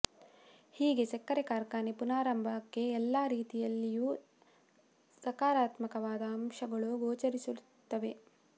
ಹೀಗೆ ಸಕ್ಕರೆ ಕಾರ್ಖಾನೆ ಪುನರಾರಂಭಕ್ಕೆ ಎಲ್ಲಾ ರೀತಿಯಲ್ಲಿಯೂ ಸಕಾರಾತ್ಮಕವಾದ ಅಂಶಗಳು ಗೋಚರಿಸುತ್ತಲಿವೆ